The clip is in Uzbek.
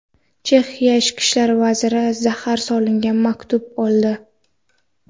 Chexiya Ichki ishlar vaziri zahar solingan maktub oldi.